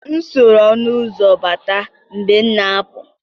M soro ọnụ ụzọ mbata mgbe m na-apụ.